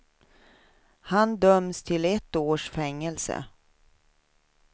Han döms till ett års fängelse.